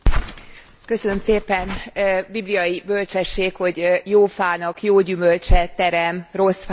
Bibliai bölcsesség, hogy jó fának jó gyümölcse terem, rossz fának rossz gyümölcse terem.